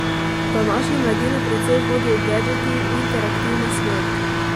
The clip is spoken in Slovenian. Današnjo mladino precej vodijo gedžeti, interaktivni svet.